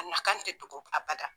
A nakan te dogo abada